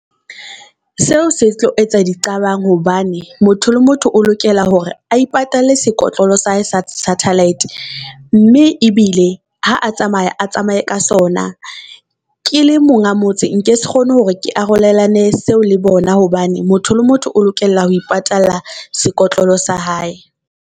Seo se tlo etsa diqabang hobane motho le motho o lokela hore a ipatalle sekotlolo sa hae sa satellite mme ebile ha a tsamaya, a tsamaye ka sona. Ke le monga motse, nke se kgone hore ke arolelane seo le bona hobane motho le motho o lokela ho ipatalla sekotlolo sa hae.